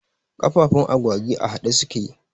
Kafafun agwagi a haɗe suke